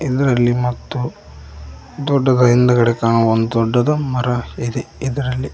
ಇದರಲ್ಲಿ ಮತ್ತು ದೊಡ್ಡದಾ ಹಿಂದ್ಗಡೆ ಕಾಣುವ ಒಂದು ದೊಡ್ಡದು ಮರ ಇದೆ ಇದರಲ್ಲಿ.